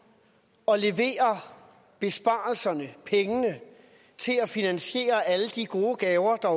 og leverer besparelserne pengene til at finansiere alle de gode gaver der